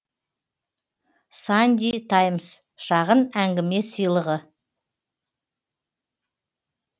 санди таймс шағын әңгіме сыйлығы